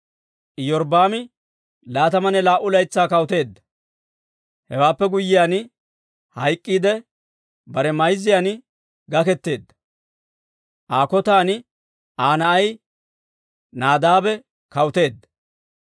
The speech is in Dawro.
Iyorbbaami laatamanne laa"u laytsaa kawuteedda. Hewaappe guyyiyaan hayk'k'iidde bare mayzzan gaketeedda. Aa kotan Aa na'ay Naadaabe kawuteedda.